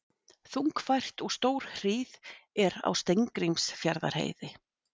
Þungfært og stórhríð er á Steingrímsfjarðarheiði